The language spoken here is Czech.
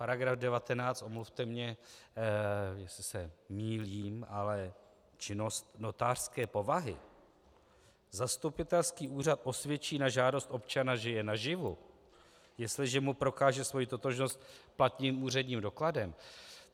Paragraf 19, omluvte mě, jestli se mýlím, ale činnost notářské povahy: Zastupitelský úřad osvědčí na žádost občana, že je naživu, jestliže mu prokáže svoji totožnost platným úředním dokladem.